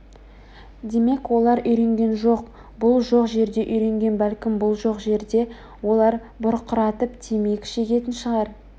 демек олар үйренген бұл жоқ жерде үйренген бәлкім бұл жоқ жерде олар бұрқыратып темекі де шегетін шығар